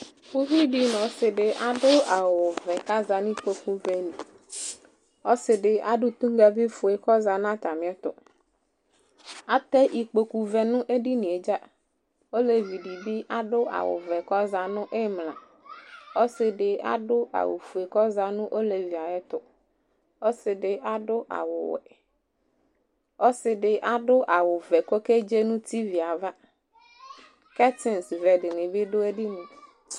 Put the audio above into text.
Uvi dɩ nʋ ɔsɩ dɩ adʋ awʋvɛ kʋ aza nʋ ikpokuvɛ li Ɔsɩ dɩ adʋ toŋgavifue kʋ ɔza nʋ atamɩɛtʋ Atɛ ikpokuvɛ nʋ edini yɛ dza Olevi dɩ bɩ adʋ awʋvɛ kʋ aza nʋ ɩmla Ɔsɩ dɩ adʋ awʋfue kʋ ɔza nʋ olevi yɛ ayɛtʋ Ɔsɩ dɩ adʋ awʋwɛ Ɔsɩ dɩ awʋvɛ kʋ ɔkedze nʋ tivi yɛ ava Kɛtsɩnsvɛ dɩnɩ bɩ dʋ edini yɛ